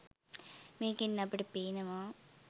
මේකෙන් අපට පේනවා